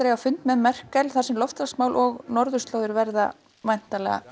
eiga fund með Merkel þar sem loftslagsmál og norðurslóðir verða væntanlega